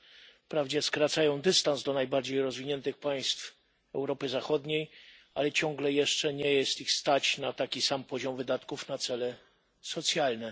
r. wprawdzie skracają dystans do najbardziej rozwiniętych państw Europy Zachodniej, ale ciągle jeszcze nie stać ich na taki sam poziom wydatków na cele socjalne.